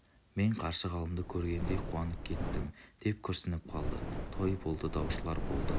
мен қаршығалымды көргендей қуанып кеттім деп күрсініп қалды той болды даушылар болды